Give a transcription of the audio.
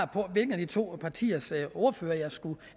på hvilken af de to partiers ordførere jeg skulle